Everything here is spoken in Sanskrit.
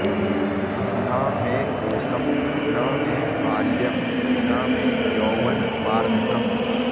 न मे कोशं न मे बाल्यं न मे यौवनवार्धकम्